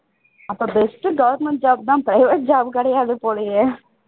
அப்போ best government job தான் private job கிடையாது போலையே